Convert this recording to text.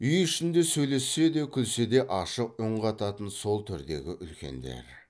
үй ішінде сөйлессе де күлсе де ашық үн қататын сол төрдегі үлкендер